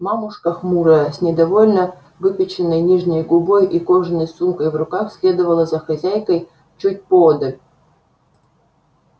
мамушка хмурая с недовольно выпяченной нижней губой и кожаной сумкой в руках следовала за хозяйкой чуть поодаль